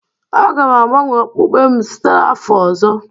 Aga m agbanwe okpukpe m site n'afọ ọzọ